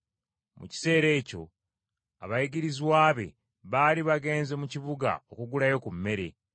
Mu kiseera ekyo abayigirizwa be baali bagenze mu kibuga okugulayo ku mmere.